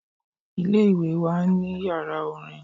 Ilé-ìwé wa máa n ní yàrá orin